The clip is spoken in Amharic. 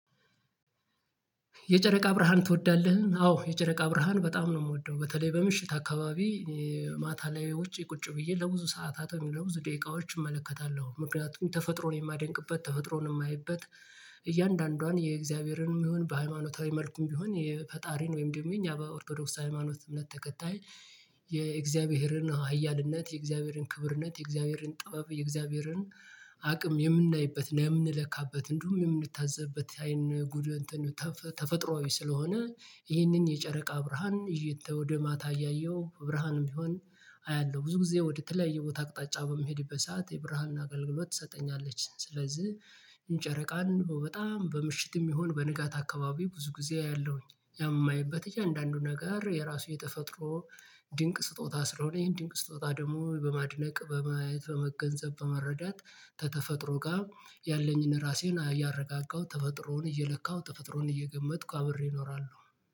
የጨረቃ ብርሃን ትወዳለህ? አዎ የጨረቃ ብርሃን በጣም ነው የምወደው በተለይ በምሽት አካባቢ። ማታ ላይ ውጪ ቁጭ ብዬ ለብዙ ሰዓታት ወይም ደግሞ ለብዙ ደቂቃዎች እመለከታለሁ። ምክንያቱም ተፈጥሮን የማደንቅበት ተፈጥሮን የማይበት እያንዳንዷን የእግዚአብሔርንም ይሁን በሃይማኖታዊ መልኩም ቢሆን የፈጣሪን ወይም ደግሞ የኛ በኦርቶዶክስ ሃይማኖት እምነት ተከታይ የእግዚአብሔርን ሀያልነት የእግዚአብሔርን ክብርነት የእግዚአብሔርን ጥበብ የእግዚአብሔርን አቅም የምናይበት የምንለካበት እንዲሁም የምንታዘብበት አይን ጉድ። ተፈጥሮአዊ ስለሆነ ይህንን የጨረቃ ብርሃን ይዤ ወደ ማታ እያየሁ ብርሃንም ቢሆን አያለሁ ብዙ ጊዜ ወደተለያየ ቦታ አቅጣጫ በሚሄድበት ሰዓት የብርሃንን አገልግሎት ትሰጠኛለች። ስለዚህ እንጨረቃን በጣም በምሽትም ይሁን በንጋት አካባቢ ብዙ ጊዜ አያለሁኝ። ያም የማየበት እያንዳንዱ ነገር የራሱ የተፈጥሮ ድንቅ ስጦታ ስለሆነ ይሄን ድንቅ ስጦታ ደግሞ በማድነቅ በማየት በመገንዘብ በመረዳት ከተፈጥሮ ጋር ያለኝን ራሴን እያረጋጋሁ ተፈጥሮን እየለካሁ ተፈጥሮን እየገመትኩ አብሬ እኖራለሁ